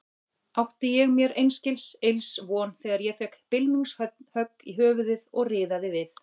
Átti ég mér einskis ills von þegar ég fékk bylmingshögg í höfuðið og riðaði við.